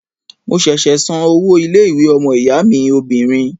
Mo ṣẹ̀ṣẹ̀ san owó ilé-ìwé ọmọ-ìyá mi obìnrin.